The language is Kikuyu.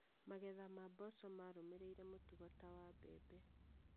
Magetha ma mboco marũmĩrĩire mũtugo ta wa mbembe